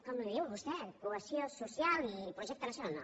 com en diu vostè cohesió social i projecte nacional